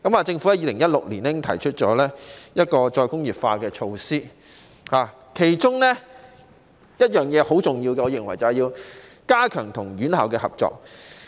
政府在2016年已經提出再工業化的措施，其中我認為十分重要的一點，便是加強與院校合作。